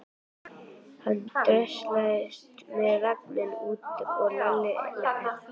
Hann dröslaðist með vagninn út og Lalli elti.